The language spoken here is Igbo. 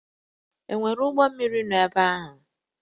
E nwere ụgbọ mmiri nọ ebe ahụ?